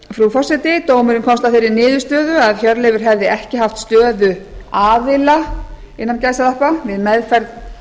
frú forseti dómurinn komst að þeirri niðurstöðu að hjörleifur hefði ekki haft stöðu aðila við meðferð